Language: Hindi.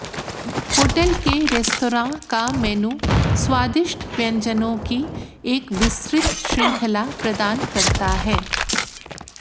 होटल के रेस्तरां का मेनू स्वादिष्ट व्यंजनों की एक विस्तृत श्रृंखला प्रदान करता है